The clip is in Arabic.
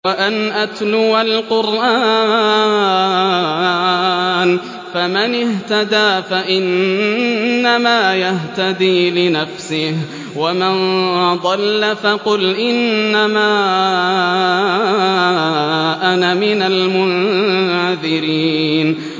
وَأَنْ أَتْلُوَ الْقُرْآنَ ۖ فَمَنِ اهْتَدَىٰ فَإِنَّمَا يَهْتَدِي لِنَفْسِهِ ۖ وَمَن ضَلَّ فَقُلْ إِنَّمَا أَنَا مِنَ الْمُنذِرِينَ